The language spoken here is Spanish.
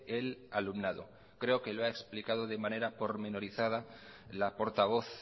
el alumnado creo que lo ha explicado de manera pormenorizada la portavoz